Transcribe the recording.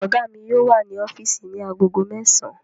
Ọ̀gá mi yóò wà ní ọ́físì ní agogo mẹ́sàn-án